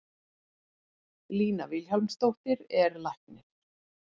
Lína Vilhjálmsdóttir er læknir.